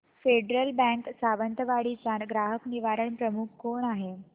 federal Bank Sawantwadi चा ग्राहक निवारण प्रमुख कोण आहे